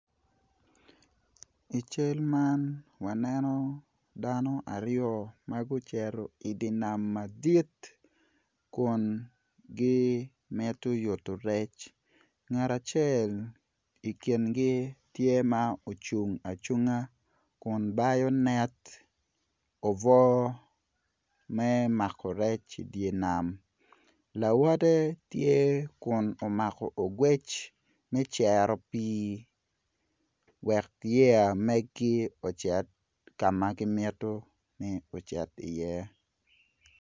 I cal man waneno dano aryo ma gucito i nam madit kun gimito yuto rec ngat acel i kingi tye ma ocung acunga kun bayonet obwo me mako rec i dye nam lawote tye kun omako ogwec me cero pii wek yeya megi ocit ka ma gimito ni ocit iye.